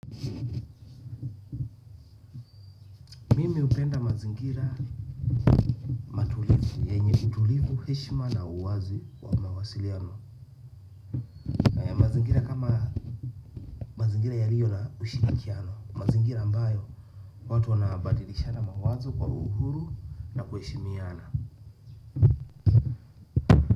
Mimi upenda mazingira matulivu, yenye utulivu heshima na uwazi kwa mawasiliano. Kama mazingira ya liyo na ushinikiano, mazingira ambayo watu wanabadilisha na mawazo kwa uhuru na kuheshimiana.